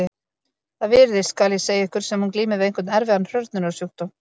Það virðist, skal ég segja ykkur, sem hún glími við einhvern erfiðan hrörnunarsjúkdóm.